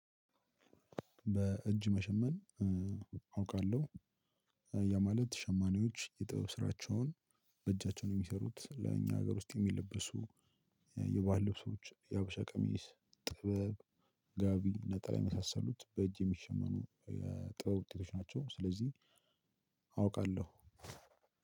በእጅ መሸመን አውቃለሁ። ያ ማለት ሸማኔዎች የጥበብ ስራቸውን በእጃቸው ነው የሚሰሩት ለእኛ ሀገር ውስጥ የሚለበሱ። የባህል ልብሶች የሀበሻ ቀሚስ ጥበብ ጋቢ ነጥላ የመሳሰሉት በእጅ የሚሸመኑ የጥበብ ውጤቶች ናቸው። ስለዚህ አውቃለሁ።